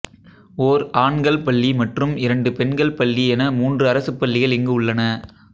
ஒர் ஆண்கள் பள்ளி மற்றும் இரண்டு பெண்கள் பள்ளி என மூன்று அரசுப் பள்ளிகள் இங்கு உள்ளன